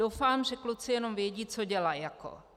Doufám, že kluci jenom vědí, co dělaj jako.